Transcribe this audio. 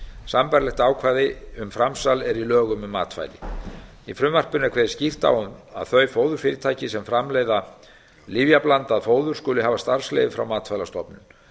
sambærilegt ákvæði um framsal er í lögum um matvæli í frumvarpinu er kveðið skýrt á um að þau fóðurfyrirtæki sem framleiða lyfjablandað fóður skulu hafa starfsleyfi frá matvælastofnun